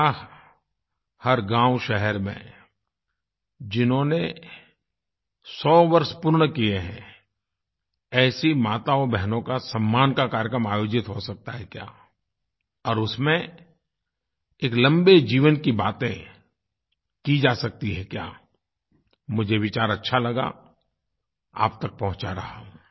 क्या हर गाँवशहर में जिन्होंने 100 वर्ष पूर्ण किये हैं ऐसी माताओंबहनों का सम्मान का कार्यक्रम आयोजित हो सकता है क्या और उसमें एक लम्बे जीवन की बातें की जा सकती हैं क्या मुझे विचार अच्छा लगा आप तक पहुँचा रहा हूँ